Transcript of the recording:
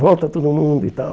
Volta todo mundo e tal.